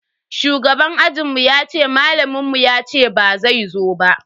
Shugaban ajinmu yace malamin mu yace bazai zo ba.